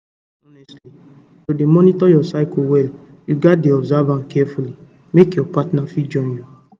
honestly honestly to dey monitor your cycle well you gats dey observe carefully make your partner fit join you